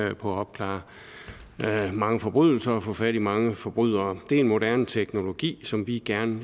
at opklare mange forbrydelser og få fat i mange forbrydere det er en moderne teknologi som vi gerne